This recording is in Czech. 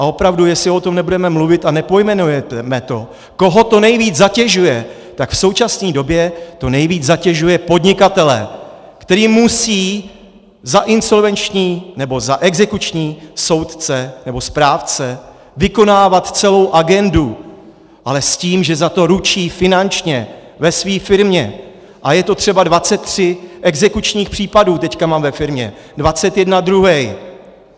A opravdu, jestli o tom nebudeme mluvit a nepojmenujeme to, koho to nejvíc zatěžuje, tak v současné době to nejvíc zatěžuje podnikatele, který musí za insolvenční nebo za exekuční soudce nebo správce vykonávat celou agendu, ale s tím, že za to ručí finančně ve své firmě, a je to třeba - 23 exekučních případů teď mám ve firmě, 21 druhej.